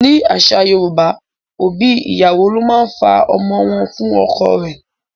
Nínú àṣà Yorùbá, òbí ìyàwó ló máa fa ọmọ wọ́n fún ọkọ rẹ.